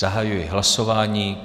Zahajuji hlasování.